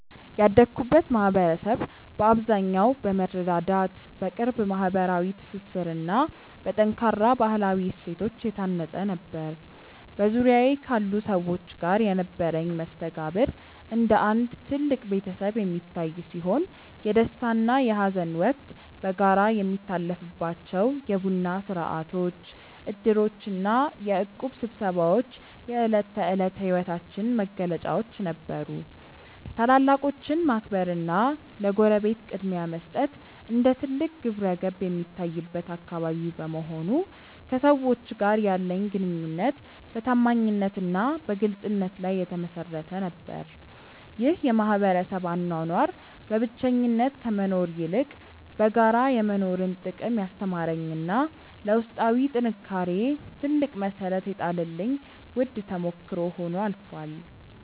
ያደግኩበት ማኅበረሰብ በአብዛኛው በመረዳዳት፣ በቅርብ ማኅበራዊ ትስስርና በጠንካራ ባሕላዊ እሴቶች የታነፀ ነበር። በዙሪያዬ ካሉ ሰዎች ጋር የነበረኝ መስተጋብር እንደ አንድ ትልቅ ቤተሰብ የሚታይ ሲሆን፣ የደስታና የሐዘን ወቅት በጋራ የሚታለፍባቸው የቡና ሥርዓቶች፣ ዕድሮችና የእቁብ ስብሰባዎች የዕለት ተዕለት ሕይወታችን መገለጫዎች ነበሩ። ታላላቆችን ማክበርና ለጎረቤት ቅድሚያ መስጠት እንደ ትልቅ ግብረገብ የሚታይበት አካባቢ በመሆኑ፣ ከሰዎች ጋር ያለኝ ግንኙነት በታማኝነትና በግልጽነት ላይ የተመሠረተ ነበር። ይህ የማኅበረሰብ አኗኗር በብቸኝነት ከመኖር ይልቅ በጋራ የመኖርን ጥቅም ያስተማረኝና ለውስጣዊ ጥንካሬዬ ትልቅ መሠረት የጣለልኝ ውድ ተሞክሮ ሆኖ አልፏል።